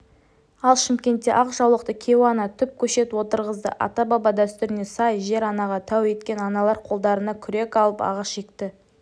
ал шымкентте ақ жаулықты кейуана түп көшет отырғызды ата-баба дәстүріне сай жер-анаға тәу еткен аналар қолдарына күрек алып ағаш екті